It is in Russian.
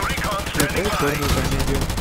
включай черную комедию